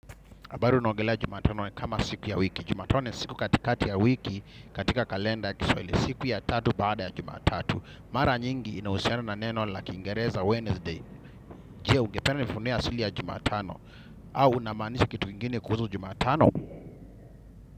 Habari unaongelea jumatano kama siku ya wiki. Jumatano ni siku katikati ya wiki, katika kalenda ya kiswahili siku ya tatu baada ya jumatatu. Mara nyingi inahusiana na neno la kiingereza Wednesday. Je ugependa nifunea asili ya jumatano. Au unamaanisha kitu ingine kuhuzu jumatano.